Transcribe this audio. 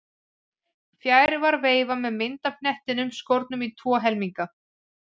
Fjær var veifa með mynd af hnettinum skornum í tvo helminga.